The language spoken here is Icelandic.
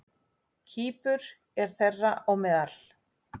Kýpur er þeirra á meðal.